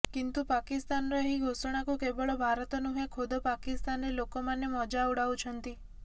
କିନ୍ତୁ ପାକିସ୍ତାନର ଏହି ଘୋଷଣାକୁ କେବଳ ଭାରତ ନୁହେଁ ଖୋଦ ପାକିସ୍ତାନରେ ଲୋକମାନେ ମଜା ଉଡାଉଛନ୍ତି